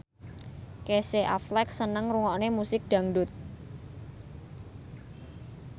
Casey Affleck seneng ngrungokne musik dangdut